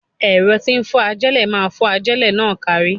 Ẹ̀rọ tí ń fọ́n ajélẹ̀ máa fọ́n ajélẹ̀ náà kárí.